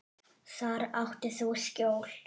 Þar áttir þú skjól.